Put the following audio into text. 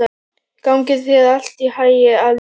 Gangi þér allt í haginn, Alís.